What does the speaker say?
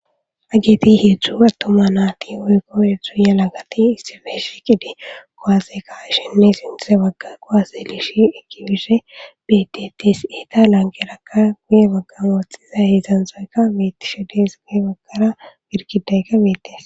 Haget 3 atuma nat woykko 3 yelagat issippe shiqid kuwase ka'ishininne sinthe baga kuwase eki bishe betetes. Eta lanqeraka guye bagan woxiza 3thoyka betishe Des. He bagara girgidayka betes.